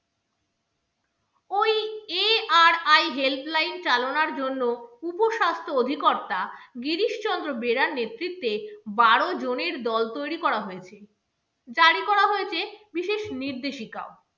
ARI helpline চালানোর জন্য উপস্বাস্থ্য অধিকর্তা গিরিশচন্দ্র বেরার নেতৃত্বে বারো জনের দল তৈরি করা হয়েছে, জারি করা হয়েছে বিশেষ নির্দেশিকাও।